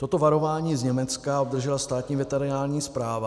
Toto varování z Německa obdržela Státní veterinární správa.